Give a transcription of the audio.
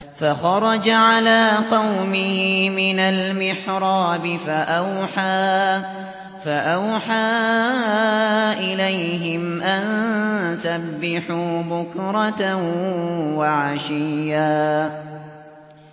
فَخَرَجَ عَلَىٰ قَوْمِهِ مِنَ الْمِحْرَابِ فَأَوْحَىٰ إِلَيْهِمْ أَن سَبِّحُوا بُكْرَةً وَعَشِيًّا